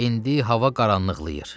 İndi hava qaranlıqlayır.